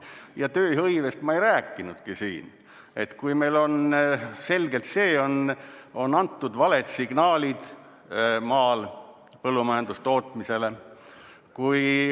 Ja tööhõivest ma ei rääkinudki siin, kui meil on selgelt antud valed signaalid põllumajandustootmisele.